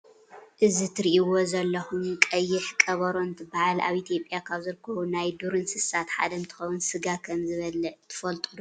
እዚ እትሪእዎ ዘለኹም ቀይሕ ቀበሮ እንትበሃል ኣብ ኢትዮጵያ ካብ ዝርከቡ ናይ ዱር እንስሳት ሓደ እንኸውን ስጋ ከም ዝበልዕ ትፈልጡ ዶ?